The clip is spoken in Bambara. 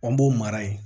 An b'o mara yen